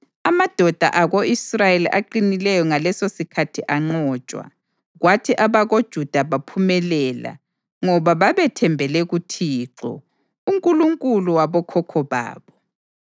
Amadoda ako-Israyeli aqinileyo ngalesosikhathi anqotshwa, kwathi abakoJuda baphumelela ngoba babethembele kuThixo, uNkulunkulu wabokhokho babo.